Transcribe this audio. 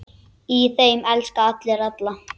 Í þeim elska allir alla.